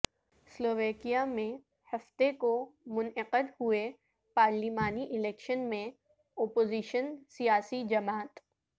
سلوواکیہ میں ہفتے کو منعقد ہوئے پارلیمانی الیکشن میں اپوزیشن سیاسی جماعت